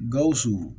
Gawusu